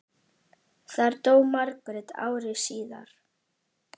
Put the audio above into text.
Þar dó Margrét ári síðar.